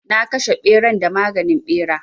Na kashe ɓeran da maganin ɓera.